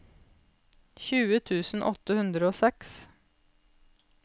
tjue tusen åtte hundre og seks